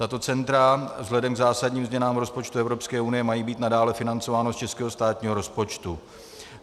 Tato centra vzhledem k zásadním změnám rozpočtu EU mají být nadále financována z českého státního rozpočtu.